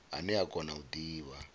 ane a kona u divha